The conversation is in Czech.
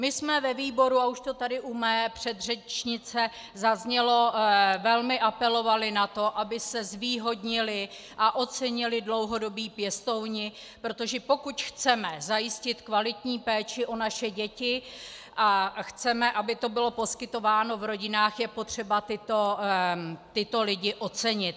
My jsme ve výboru, a už to tady u mé předřečnice zaznělo, velmi apelovali na to, aby se zvýhodnili a ocenili dlouhodobí pěstouni, protože pokud chceme zajistit kvalitní péči o naše děti a chceme, aby to bylo poskytováno v rodinách, je potřeba tyto lidi ocenit.